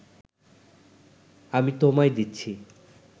আমি তোমায় দিচ্ছি